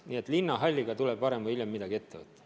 Nii et linnahalliga tuleb varem või hiljem midagi ette võtta.